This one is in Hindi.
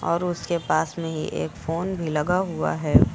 और उसके पास में ही एक फोन भी लगा हुआ है।